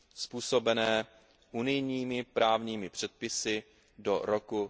způsobené unijními právními předpisy do roku